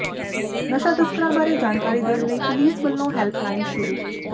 ਨਸ਼ਾ ਤਸਕਰਾਂ ਬਾਰੇ ਜਾਣਕਾਰੀ ਦੇਣ ਲਈ ਪੁਲੀਸ ਵੱਲੋਂ ਹੈੱਲਪ ਲਾਈਨ ਸ਼ੁਰੂ